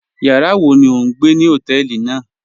Yàrá wọ̀ ní ọ̀ n gbẹ̀ ní hotẹ̀ẹlí náà?